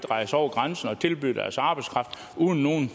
rejse over grænsen og tilbyde deres arbejdskraft uden nogen